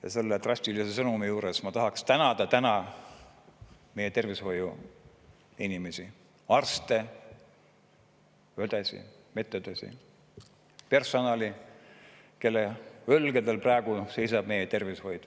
Aga selle drastilise sõnumi juures ma tahan tänada meie tervishoiuinimesi – arste ja medõdesid, kogu personali –, kelle õlgadel seisab meie tervishoid.